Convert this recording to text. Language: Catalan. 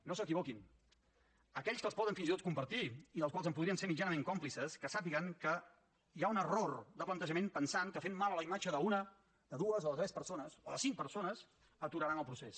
no s’equivoquin aquells que els poden fins i tot compartir i dels quals en podrien ser mitjanament còmplices que sàpiguen que hi ha un error de plantejament pensant que fent mal a la imatge d’una de dues o de tres persones o de cinc persones aturaran el procés